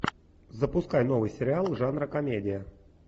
запускай новый сериал жанра комедия